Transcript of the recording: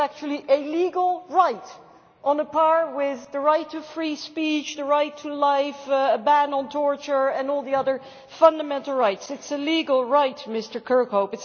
It is actually a legal right on a par with the right to free speech, the right to life, a ban on torture and all the other fundamental rights. It is a legal right, Mr Kirkhope.